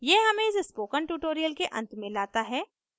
यह हमें इस स्पोकन ट्यूटोरियल के अंत में लाता है